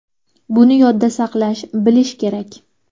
Buni yodda saqlash, bilish kerak.